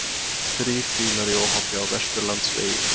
Þrír bílar í óhappi á Vesturlandsvegi